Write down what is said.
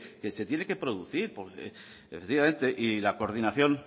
que se tiene que producir y la coordinación